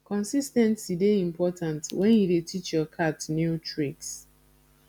consis ten cy dey important wen you dey teach your cat new tricks